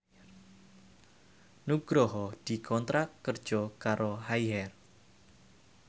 Nugroho dikontrak kerja karo Haier